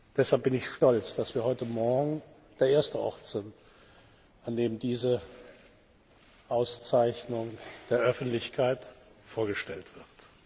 Deshalb bin ich stolz, dass wir heute Morgen der erste Ort sind, an dem diese Auszeichnung der Öffentlichkeit vorgestellt wird.